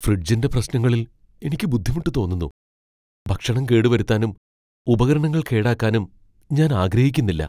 ഫ്രിഡ്ജിന്റെ പ്രശ്നങ്ങളിൽ എനിക്ക് ബുദ്ധിമുട്ട് തോന്നുന്നു, ഭക്ഷണം കേടുവരുത്താനും ഉപകരണങ്ങൾ കേടാക്കാനും ഞാൻ ആഗ്രഹിക്കുന്നില്ല.